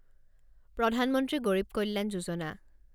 প্ৰধান মন্ত্ৰী গৰিব কল্যাণ যোজনা